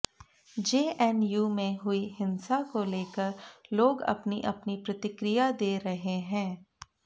JNU में हुई हिंसा को लेकर लोग अपनी अपनी प्रतिक्रिया दे रहे हैं